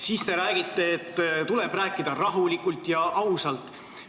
Siis te räägite, et tuleb rääkida rahulikult ja ausalt.